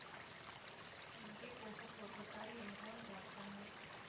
எங்கே போக புறப்பட்டாய் என்றான் ராக்கம்மாள்